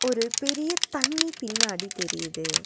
ஒரு பெரிய தண்ணி பின்னாடி தெரியிது.